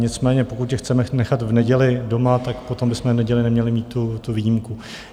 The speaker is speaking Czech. Nicméně pokud je chceme nechat v neděli doma, tak potom bychom v neděli neměli mít tu výjimku.